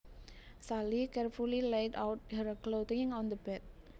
Sally carefully laid out her clothing on the bed